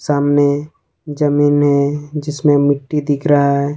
सामने जमीन है जिसमें मिट्टी दिख रहा है।